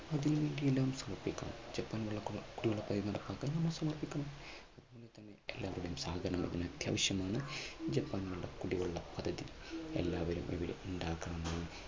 Japan വെള്ള കുടിവെള്ള പദ്ധതി നടപ്പാക്കാൻ നമ്മൾ സമർപ്പിക്കണം അത്യാവശ്യമാണ് ഇതിപ്പോ നമ്മുടെ കുടിവെള്ള പദ്ധതി എല്ലാവരും ഇവര് ഉണ്ടാകണമെന്ന്